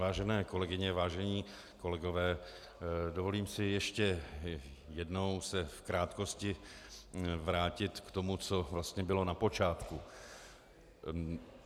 Vážené kolegyně, vážení kolegové, dovolím si ještě jednou se v krátkosti vrátit k tomu, co vlastně bylo na počátku.